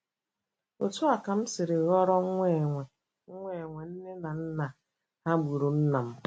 Otú a ka m siri ghọrọ nwa enwe nwa enwe nne na nna,- ha gburu nna m.